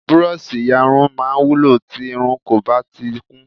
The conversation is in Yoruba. Burọ̀ṣì iyarun máa ń wúlò tí irun kò bá tíì kún